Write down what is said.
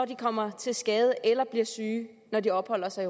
de kommer til skade eller bliver syge når de opholder sig